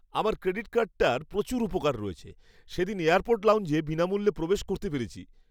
আমার ক্রেডিট কার্ডটার প্রচুর উপকার রয়েছে। সেদিন এয়ারপোর্ট লাউঞ্জে বিনামূল্যে প্রবেশ করতে পেরেছি।